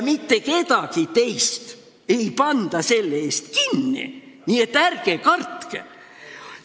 Mitte kedagi teist ei panda selle eest kinni, nii et ärge kartke.